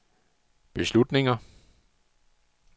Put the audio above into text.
beslutninger